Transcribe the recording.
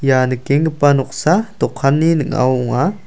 ia nikenggipa noksa dokanni ning·ao ong·a.